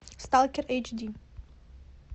сталкер эйч ди